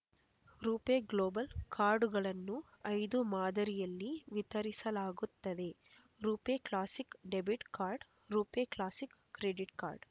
ರೂಪೆ global ಕಾರ್ಡುಗಳನ್ನು ಐದು ಮಾದರಿಯಲ್ಲಿ ವಿತರಿಸಲಾಗುತ್ತದೆ RuPay classic debit card RuPay classic credit card